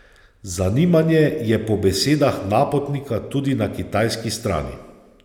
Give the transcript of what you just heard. Zanimanje je po besedah Napotnika tudi na kitajski strani.